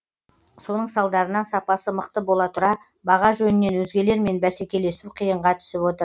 соның салдарынан сапасы мықты бола тұра баға жөнінен өзгелермен бәскелесу қиынға түсіп отыр